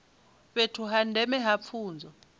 fhethu ha ndeme ha pfunzo